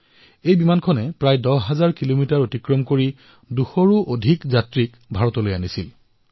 দহ হাজাৰ কিলোমিটাৰতকৈও অধিক দূৰত্বৰ এই দীৰ্ঘ যাত্ৰা অতিক্ৰম কৰি এই বিমানে দুশতকৈও অধিক যাত্ৰীক ভাৰতলৈ লৈ আহিছে